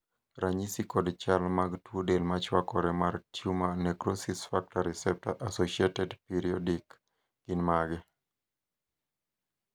ranyisi kod chal mag tuo del machwakore mar Tumor necrosis factor receptor associated periodic gin mage?